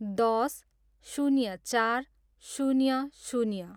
दस, शून्य चार, शून्य शून्य